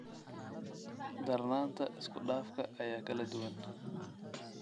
Darnaanta isku-dhafka ayaa kala duwan.